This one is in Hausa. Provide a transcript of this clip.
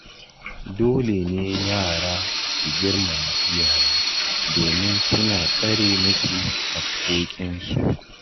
Dole ne yara su girmama iyaye domin suna tsare musu haƙƙoƙinsu